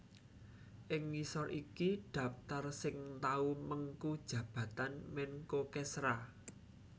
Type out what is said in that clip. Ing ngisor iki dhaptar sing tau mengku jabatan Menko Kesra